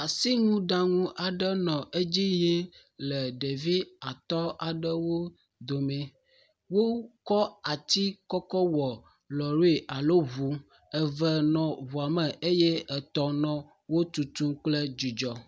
Asinuɖaŋu aɖe nɔ edzi yim le ɖevi atɔ̃ aɖewo domee. Wokɔ ati kɔ kɔ wɔ lɔ̃ri alo ŋu, eve nɔ ŋuɔ me eye etɔ̃ nɔ wo tutu kple dzidzɔ.